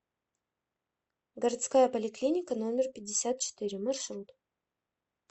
городская поликлиника номер пятьдесят четыре маршрут